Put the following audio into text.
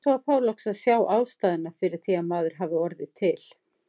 Eins og að fá loks að sjá ástæðuna fyrir því að maður hafi orðið til.